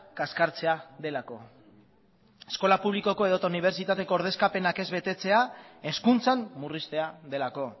kaskartzea delako eskola publikoko edo eta unibertsitateko ordezkapenak ez betetzea hezkuntzan murriztea delako